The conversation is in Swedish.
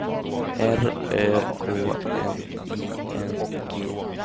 R Ö K N I N G